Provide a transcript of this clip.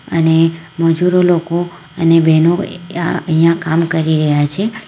અને મજૂરો લોકો અને બહેનો એયા અયા અહીંયા કામ કરી રહ્યા છે.